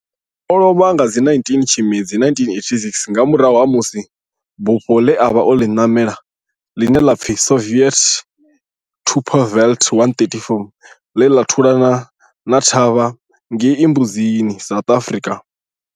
O lovha nga 19 Tshimedzi 1986 nga murahu ha musi bufho ḽe a vha o ḽi namela, ḽine ḽa pfi Soviet Tupolev 134 la thulana thavha ngei Mbuzini, South Africa.